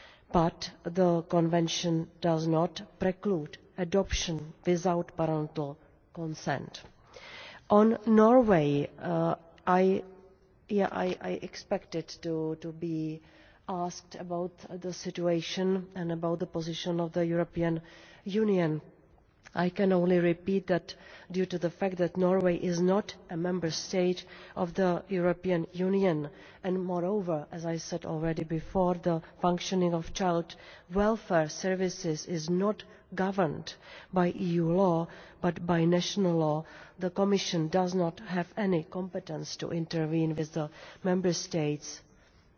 But the Convention does not preclude adoption without parental consent. On Norway and yes, I expected to be asked about the situation and about the position of the European Union I can only repeat that due to the fact that Norway is not a Member State of the European Union and moreover, as I said already before, the functioning of child welfare services is not governed by EU law, but by national law, the Commission does not have any competence to intervene with the Member States and it is